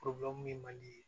ye mali ye